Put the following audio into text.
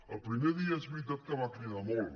el primer dia és veritat que va cridar molt